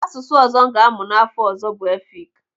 Asụsụ ọzọ m ga-amụ n'afọ ọzọ bụ Efik.